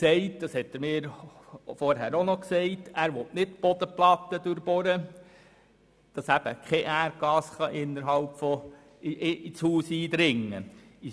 Daniel Trüssel hat mir vorgängig gesagt, er wolle die Bodenplatte nicht durchbohren, damit kein Erdgas ins Haus eindringen könne.